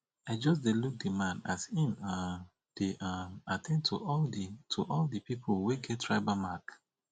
i just dey look di man as im um dey um at ten d to all di to all di pipu wey get tribal mark